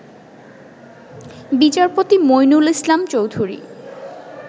বিচারপতি মঈনুল ইসলাম চৌধুরী